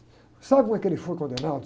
Sabe como é que ele foi condenado?